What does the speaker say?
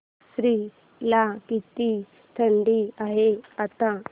आश्वी ला किती थंडी आहे आता